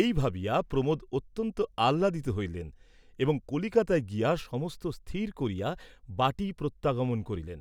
এই ভাবিয়া প্রমোদ অত্যন্ত আহ্লাদিত হইলেন, এবং কলিকাতায় গিয়া সমস্ত স্থির করিয়া বাটী প্রত্যাগমন করিলেন।